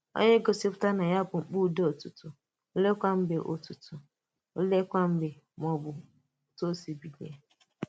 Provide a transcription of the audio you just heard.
Ònye gòsìpùtàrà na ya bụ kpakàndò Ụ̀tụ̀tụ̀, òleèkwa mgbe Ụ̀tụ̀tụ̀, òleèkwa mgbe mà òtù o sì ‘bílíè’?